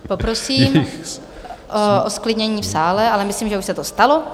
Poprosím o zklidnění v sále, ale myslím, že už se to stalo.